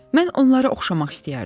Mən onlara oxşamaq istəyərdim.